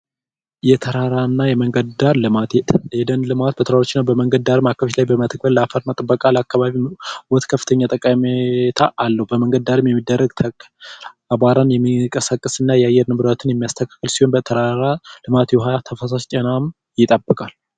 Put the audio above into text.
የተራራማ ደን ልማት የደን ልማት በመንገድ ዳር አካባቢዎችን በመትከል ከፍተኛ ጥቅም አለው በመንገድ ዳር የሚደረግ አቧራን የማይቀሰቀስና የአየር ንብረቱን የሚጠብቅ ሲሆን በተራራ ልማት የፈሳሽ ውሃ ይጠብቃል።